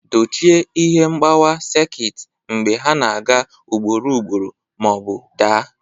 Dochie ihe mgbawa sekit mgbe ha na-aga ugboro ugboro ma ọ bụ daa.